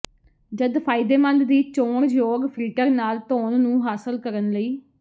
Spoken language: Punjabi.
ਜਦ ਫਾਇਦੇਮੰਦ ਦੀ ਚੋਣ ਯੋਗ ਫਿਲਟਰ ਨਾਲ ਧੋਣ ਨੂੰ ਹਾਸਲ ਕਰਨ ਲਈ